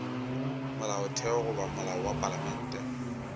molaotheo goba molao wa palamente